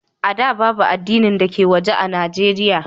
A da, babu addinin waje a Nijeriya.